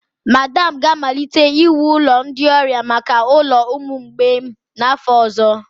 Madam ga-amalite iwu ụlọ ndị ọrịa maka ụlọ ụmụ mgbei n'afọ ọzọ.